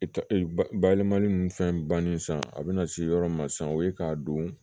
I ta e bayɛlɛmali ni fɛn bannen san a bɛna se yɔrɔ min ma sisan o ye k'a don